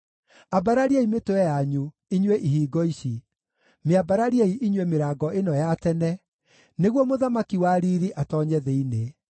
Ambarariai mĩtwe yanyu, inyuĩ ihingo ici, mĩambarariei inyuĩ mĩrango ĩno ya tene, nĩguo Mũthamaki wa riiri atoonye thĩinĩ.